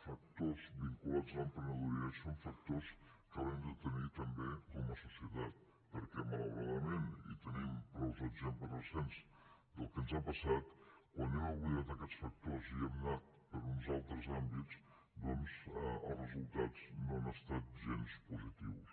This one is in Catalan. factors vinculats a l’emprenedoria i són factors que haurem de tenir també com a societat perquè malauradament i tenim prou exemples recents del que ens ha passat quan hem oblidat aquests factors i hem anat per uns altres àmbits doncs els resultats no han estat gens positius